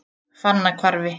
Fannahvarfi